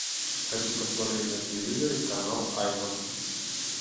хочу посмотреть на телевизоре канал айва